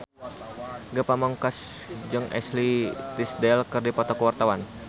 Ge Pamungkas jeung Ashley Tisdale keur dipoto ku wartawan